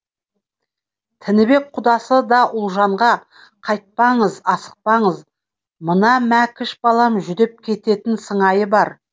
тінібек құдасы да ұлжанға қайтпаңыз асықпаңыз мына мәкіш балам жүдеп кететін сыңайы бар